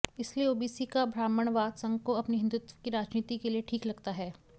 इसलिए ओबीसी का ब्राह्मणवाद संघ को अपनी हिन्दुत्व की राजनीति के लिए ठीक लगता है